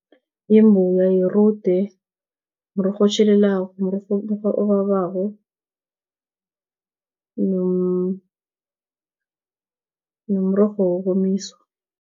Yimbuya, yirude, mrorho otjhelelako, mrorho obabako nomrorho wokomiswa.